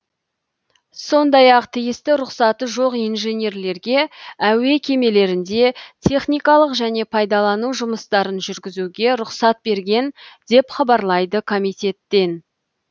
сондай ақ тиісті рұқсаты жоқ инженерлерге әуе кемелерінде техникалық және пайдалану жұмыстарын жүргізуге рұқсат берген деп хабарлайды комитеттен